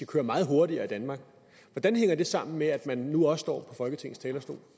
køre meget hurtigere i danmark hvordan hænger det sammen med at man nu også står på folketingets talerstol